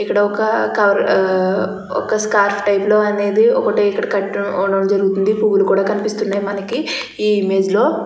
ఇక్కడ ఒక కార్ ఆ ఒక స్కార్ఫ్ టైప్ లో అనేది ఒకటి కట్టడం జరిగింది పూలు కూడా కనిపిస్తున్నాయి మనకి ఈ ఇమేజ్ లో.